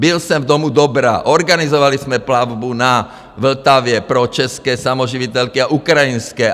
Byl jsem v Domu Dobra, organizovali jsme plavbu na Vltavě pro české samoživitelky a ukrajinské.